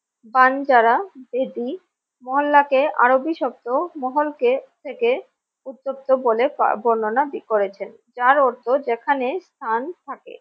বানজারা বেদি মহল্লাকে আরবি শব্দ মহলকে থেকে উত্তপ্ত বলে ব বর্ণনা করেছেন যার অর্থ যেখানে স্থান থাকে।